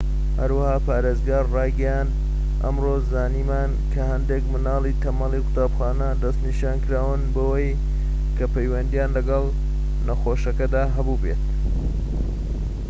هەروەها پارێزگار ڕایگەیاند ئەمڕۆ زانیمان کە هەندێک منداڵی تەمەنی قوتابخانە دەسنیشانکراون بەوەی کە پەیوەندیان لەگەڵ نەخۆشەکەدا هەبوو بێت